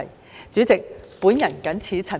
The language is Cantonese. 代理主席，我謹此陳辭。